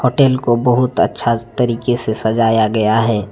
Hotel को बहुत अच्छा तरीके से सजाया गया हैं।